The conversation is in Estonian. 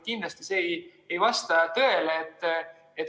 Kindlasti ei vasta see tõele.